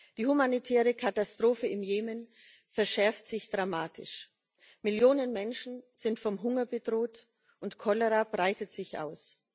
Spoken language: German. Die humanitäre Katastrophe im Jemen verschärft sich dramatisch Millionen Menschen sind vom Hunger bedroht, und Cholera breitet sich aus.